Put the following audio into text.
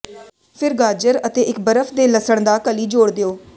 ਫਿਰ ਗਾਜਰ ਅਤੇ ਇੱਕ ਬਰਫ਼ ਦੇ ਲਸਣ ਦਾ ਕਲੀ ਜੋੜ ਦਿਓ